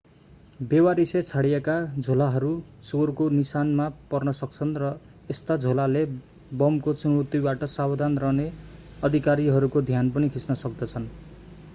बेवारिसे छाडिएका झोलाहरू चोरको निशानामा पर्न सक्छन् र यस्ता झोलाले बमको चुनौतीबाट सावधान रहने अधिकारीहरूको ध्यान पनि खिच्न सक्दछन्